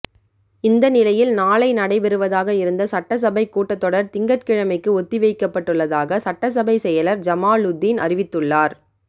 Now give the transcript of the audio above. இந்த நிலையில் நாளை நடைபெறுவதாக இருந்த சட்டசபை கூட்டத் தொடர் திங்கட்கிழமைக்கு ஒத்திவைக்கப்பட்டுள்ளதாக சட்டசபை செயலர் ஜமாலுதீன் அறிவித்துள்ளார்